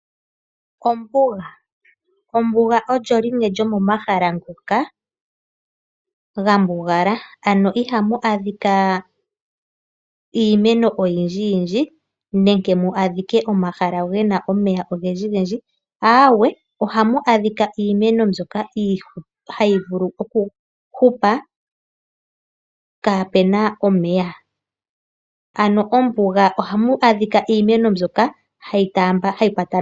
Ombuga, Ombuga olyo limwe lyo momahala ngoka ga mbugala, ano iha mu adhika iimeno oyindji yindji nenge mu adhike omahala ge na omeya ogendji gendji. Aawe, oha mu adhika iimeno mbyoka ha yi vulu ku hupa kaapena omeya. Ano Ombuga oha mu adhika iimeno mbyoka ha yi taamba ha yi kwata.